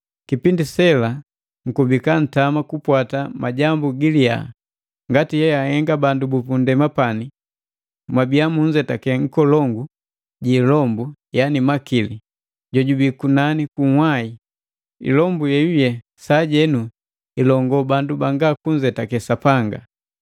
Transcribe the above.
Kipindi sela mkubika ntama kukupwata majambu giliya ngati eahenga bandu bupundema pani, mwabiya munzetake nkolongu ji ilombu yana makili jojubii kunani kunhwai, ilombu yeyuye sajenu ilongo bandu banga kunzetake Sapanga.